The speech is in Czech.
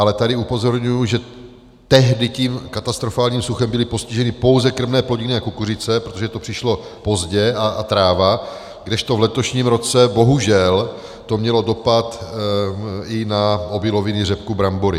Ale tady upozorňuji, že tehdy tím katastrofálním suchem byly postiženy pouze krmné plodiny a kukuřice, protože to přišlo pozdě, a tráva, kdežto v letošním roce bohužel to mělo dopad i na obiloviny, řepku, brambory.